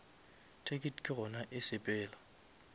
ticket ke gona e sepela